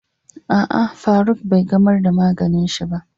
A'a, Faruk bai gamar da maganin shi ba.